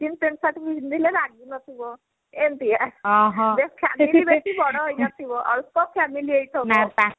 jeans pant shirt ପିନ୍ଧିଲେ ରାଗୁ ନଥିବ ଏମତି ଯେ family ବେଶୀ ବଡ ହେଇ ନଥିବ ଛୋଟ family ହେଇଥିବ